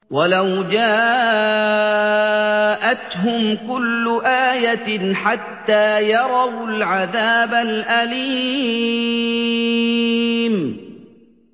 وَلَوْ جَاءَتْهُمْ كُلُّ آيَةٍ حَتَّىٰ يَرَوُا الْعَذَابَ الْأَلِيمَ